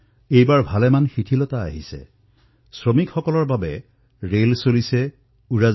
এই বাৰ বহুখিনি মুকলি কৰা হৈছে শ্ৰমিক বিশেষ ৰেল চলিবলৈ ধৰিছে অন্য বিশেষ ৰেলো চলিবলৈ ধৰিছে